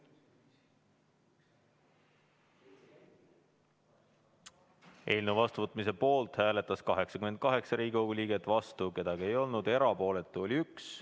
Eelnõu seadusena vastuvõtmise poolt hääletas 88 Riigikogu liiget, vastu keegi ei olnud, erapooletu oli 1.